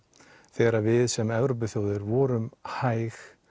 þegar við sem Evrópuþjóðir vorum hæg